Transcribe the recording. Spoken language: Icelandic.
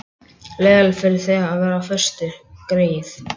Leiðinlegt fyrir þig að vera á föstu, greyið.